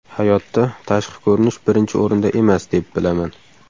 Hayotda, tashqi ko‘rinish birinchi o‘rinda emas, deb bilaman.